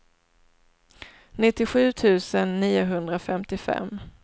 nittiosju tusen niohundrafemtiofem